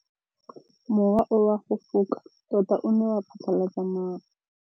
Mowa o wa go foka tota o ne wa phatlalatsa maru.